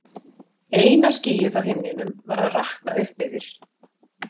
Eina skýið á himninum var að rakna upp yfir